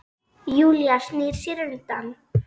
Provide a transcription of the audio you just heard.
Júlía snýr sér undan.